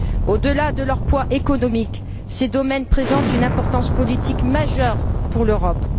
Au delà de leur poids économique, ces domaines présentent une importance politique majeure pour l'Europe.